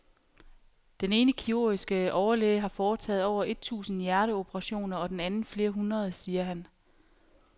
Den ene kirurgiske overlæge har foretaget over et tusind hjerteoperationer og den anden flere hundrede, siger han.